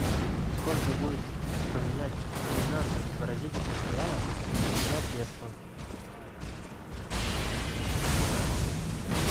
сколько будет поменять тринадцать бразильских реалов на песо